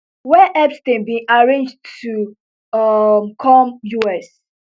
wey epstein bin arrange to um come us